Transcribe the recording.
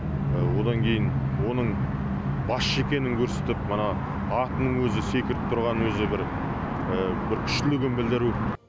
одан кейін оның басшы екенін көрсетіп мына атының өзі секіріп тұрғанының өзі бір күштілігін білдіру